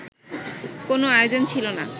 কোনো আয়োজন ছিল না